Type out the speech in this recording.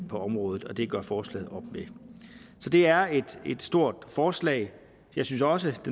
på området og det gør forslaget op med så det er et stort forslag jeg synes også at